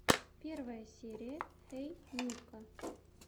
первая серия хей нико